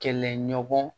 Kɛlɛɲɔgɔn